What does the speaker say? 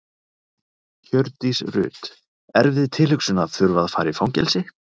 Hjördís Rut: Erfið tilhugsun að þurfa að fara í fangelsi?